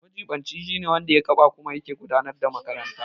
Majiɓinci shine wanda ya kafa kuma yake tafiyar da makarantar.